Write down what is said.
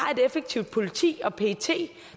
har et effektivt politi og pet